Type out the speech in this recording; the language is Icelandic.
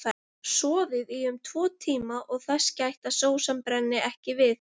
Soðið í um tvo tíma og þess gætt að sósan brenni ekki við.